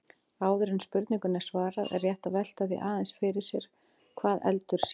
Áður en spurningunni er svarað er rétt að velta því aðeins sér hvað eldur sé.